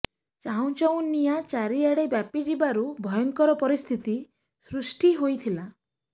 ଚାହୁଁ ଚାହୁଁ ନିଆଁ ଚାରିଆଡେ ବ୍ୟାପିଯିବାରୁ ଭୟଙ୍କର ପରିସ୍ଥିତି ସୃଷ୍ଟି ହୋଇଥିଲା